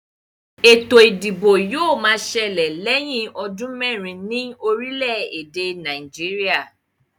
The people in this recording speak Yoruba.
Ètò ìdìbò yóò ma ṣẹlẹ̀ lẹ̀yín ọdún mẹ́rin ní orílè èdè Nàìjíríà